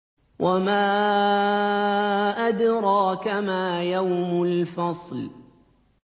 وَمَا أَدْرَاكَ مَا يَوْمُ الْفَصْلِ